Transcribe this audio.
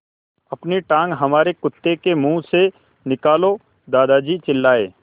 अपनी टाँग हमारे कुत्ते के मुँह से निकालो दादाजी चिल्लाए